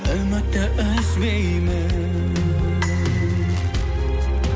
үмітті үзбеймін